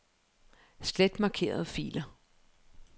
Slet markerede filer.